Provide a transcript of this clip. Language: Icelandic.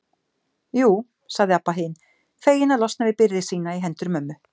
Jú, sagði Abba hin, fegin að losna við byrði sína í hendur mömmu.